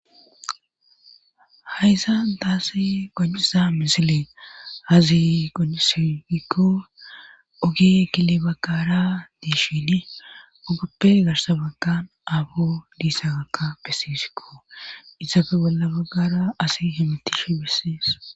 Hayssa daassi gajcisa misile hazi gonisifikko oge kile baggara diishini ogappe garsabaggan aabo diissa gakka pesifikko isafe bolla baggara asi himetishi bissies